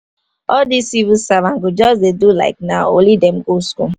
all these civil servant go just dey do like nah only them go school